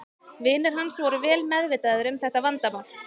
Vinir hans voru vel meðvitaðir um þetta vandamál.